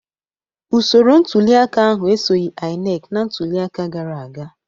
Usoro ntuliaka ahụ esoghị INEC na ntuliaka gara aga